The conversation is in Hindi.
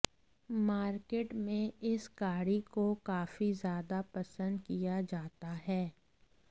मार्केट में इस गाड़ी को काफी ज्यादा पसंद किया जाता है